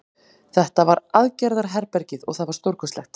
Þetta var aðgerðarherbergið og það var stórkostlegt.